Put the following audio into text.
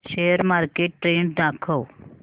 share market trend दाखव